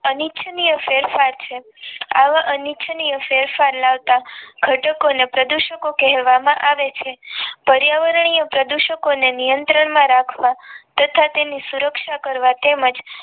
અનિચ્છનીય ફેરફાર છે આવા અનિચ્છનીય ફેરફાર લાવતા ઘટકો ને પ્રદુષકો કહેવામાં આવે છે પર્યાવરણીય પ્રદૂષકોને નિયંત્રણમાં રાખવા તથા તેની સુરક્ષા કરવા તેમજ